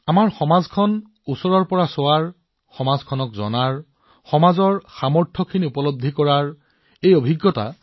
এয়া সমাজ এখনলৈ চোৱা সমাজক জনা সমাজৰ সম্ভাৱনা চিনাক্ত কৰা মোৰ বাবেতো এয়া এক আশ্চৰ্যকৰ অভিজ্ঞতা